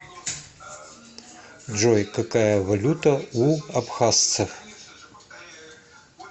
джой какая валюта у абхазсцев